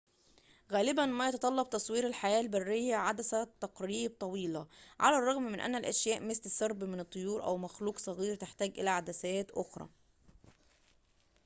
غالبًا ما يتطلب تصوير الحياة البرية عدسة تقريب طويلة على الرغم من أن أشياء مثل سرب من الطيور أو مخلوق صغير تحتاج إلى عدسات أخرى